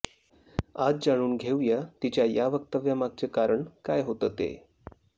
आज जाणून घेऊया तिच्या या वक्तव्यामागचं कारण काय होतं ते